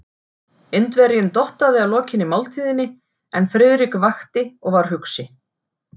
Indverjinn dottaði að lokinni máltíðinni, en Friðrik vakti og var hugsi.